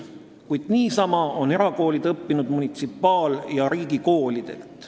Kuid samuti on erakoolid õppinud munitsipaal- ja riigikoolidelt.